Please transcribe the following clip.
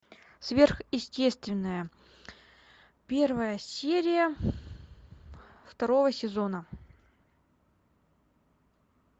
сверхъестественное первая серия второго сезона